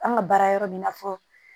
An ka baara yɔrɔ bɛ i n'a fɔ